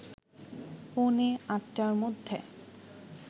পৌনে ৮টার মধ্যে